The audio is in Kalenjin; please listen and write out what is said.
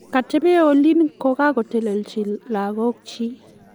katebee olin ko kakotelechi lagok chiik